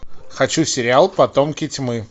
хочу сериал потомки тьмы